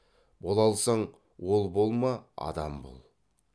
бола алсаң ол болма адам бол